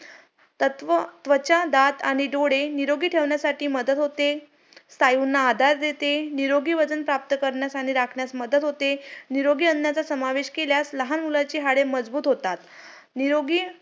आपल्याला जर सुखी राहायचे असेल ,अं चांगल्या प्रकारे आपले जीवन जगायचं असेल तर शिक्षण खूप महत्वाचं आहे.